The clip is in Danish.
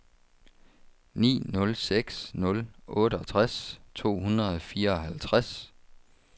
ni nul seks nul otteogtres to hundrede og fireoghalvtreds